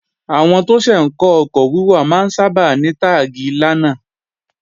Àwọn tó ṣẹ̀ ń kọ́ ọkọ̀ wíwà máa ń sábà ní táàgi 'lánà'